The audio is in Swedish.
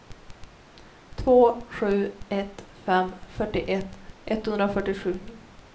två sju ett fem fyrtioett etthundrafyrtiosju